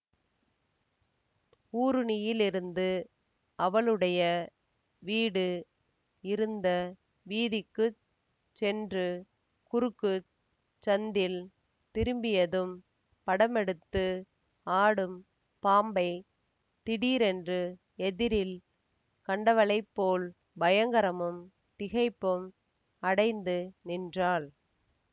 ஊருணியிலிருந்து அவளுடைய வீடு இருந்த வீதிக்குச் சென்று குறுக்குச் சந்தில் திரும்பியதும் படமெடுத்து ஆடும் பாம்பைத் திடீரென்று எதிரில் கண்டவளைப்போல் பயங்கரமும் திகைப்பும் அடைந்து நின்றாள்